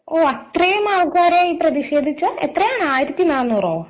ഓഹ് അത്രയും ആൾക്കാർ പ്രതിഷേധിച്ചോ എത്രയാണ് ആയിരത്തി നാനൂറോ